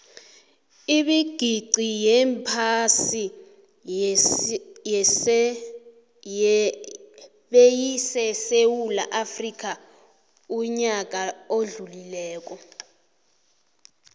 ibigixi yephasi beyisesewula afxica uyaka odlulile